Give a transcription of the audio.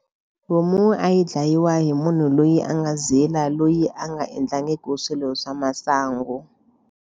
Homu yi dlayiwa hi munhu loyi a nga zila loyi a nga endlangiki swilo swa masangu.